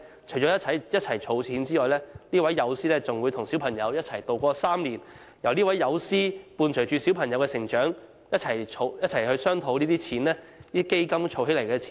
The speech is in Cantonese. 除了一同儲蓄外，這位友師還會與小朋友一起渡過3年，伴隨小朋友成長，一起商討如何好好運用基金儲蓄的金錢。